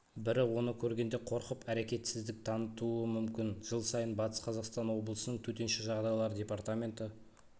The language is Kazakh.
бірі оны көргенде қорқып әрекетсіздік танытуы мүмкін жыл сайын батыс қазақстан облысының төтенше жағдайлар департаменті